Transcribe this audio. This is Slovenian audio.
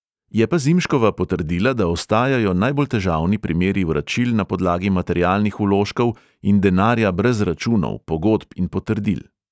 Je pa zimškova potrdila, da ostajajo najbolj težavni primeri vračil na podlagi materialnih vložkov in denarja brez računov, pogodb in potrdil.